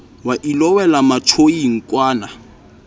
wa ilo wela matjoing kwana